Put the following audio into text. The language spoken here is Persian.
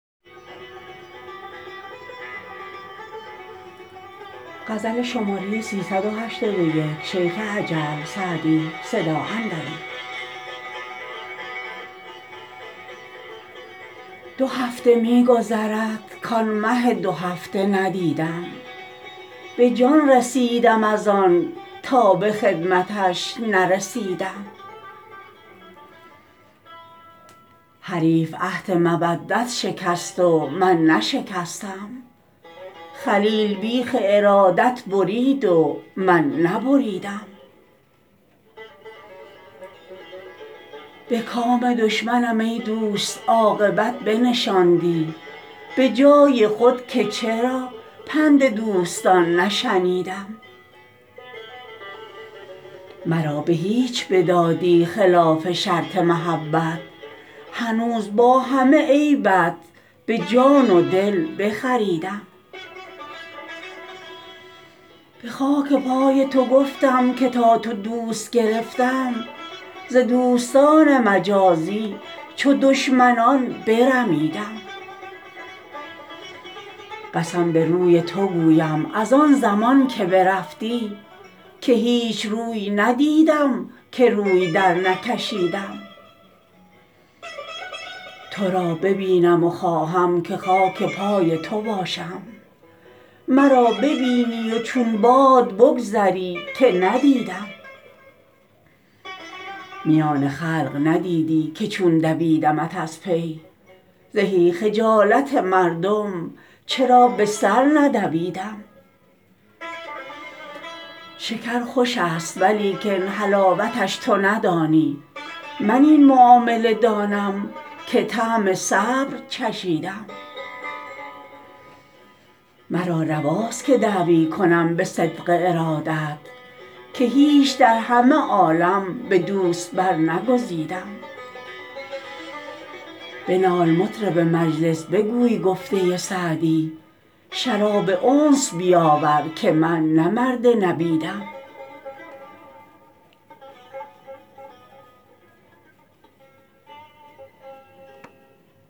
دو هفته می گذرد کآن مه دوهفته ندیدم به جان رسیدم از آن تا به خدمتش نرسیدم حریف عهد مودت شکست و من نشکستم خلیل بیخ ارادت برید و من نبریدم به کام دشمنم ای دوست عاقبت بنشاندی به جای خود که چرا پند دوستان نشنیدم مرا به هیچ بدادی خلاف شرط محبت هنوز با همه عیبت به جان و دل بخریدم به خاک پای تو گفتم که تا تو دوست گرفتم ز دوستان مجازی چو دشمنان برمیدم قسم به روی تو گویم از آن زمان که برفتی که هیچ روی ندیدم که روی درنکشیدم تو را ببینم و خواهم که خاک پای تو باشم مرا ببینی و چون باد بگذری که ندیدم میان خلق ندیدی که چون دویدمت از پی زهی خجالت مردم چرا به سر ندویدم شکر خوش است ولیکن حلاوتش تو ندانی من این معامله دانم که طعم صبر چشیدم مرا رواست که دعوی کنم به صدق ارادت که هیچ در همه عالم به دوست برنگزیدم بنال مطرب مجلس بگوی گفته سعدی شراب انس بیاور که من نه مرد نبیدم